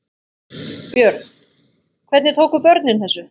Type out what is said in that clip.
Björn: Hvernig tóku börnin þessu?